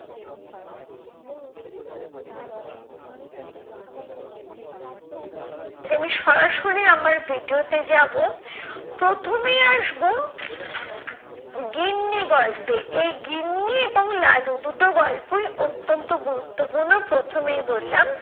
আমি সরাসরি আমার video তে যাবো। প্রথমেই আসবো গিন্নি গল্পে, এই গিন্নি এবং লালু দুটো গল্পই অত্যন্ত গুরুত্বপূর্ণ প্রথমেই বললাম।